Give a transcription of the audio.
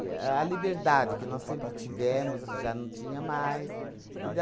A liberdade que nós sempre tivemos já não tinha mais.